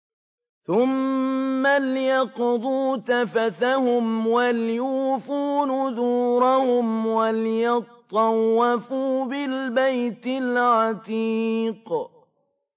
ثُمَّ لْيَقْضُوا تَفَثَهُمْ وَلْيُوفُوا نُذُورَهُمْ وَلْيَطَّوَّفُوا بِالْبَيْتِ الْعَتِيقِ